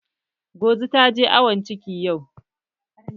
Ngozi ta je awon ciki yau